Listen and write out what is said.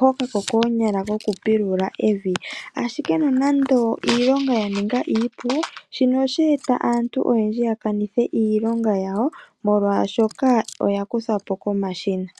hoka kokoonyala kokupilula evi. Ashike nando iilonga ya ninga iipu shino oshe eta aantu oyendji ya kanithe iilonga yawo, molwashoka oya kuthwa po komashina.